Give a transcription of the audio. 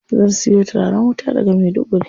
Zan siyo turaren wuta daga Maiduguri.